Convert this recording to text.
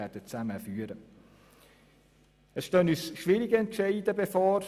Es stehen uns schwierige Entscheidungen bevor.